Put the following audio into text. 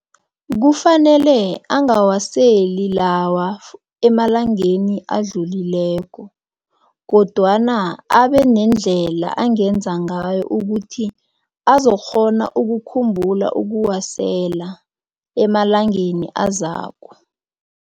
Kufanele angawaseli lawa emalangeni adlulileko kodwana abenendlela angenza ngayo ukuthi azokukghona ukukhumbula ukuwasela emalangeni azako.